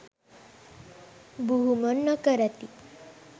බුහුමන් නොකරති.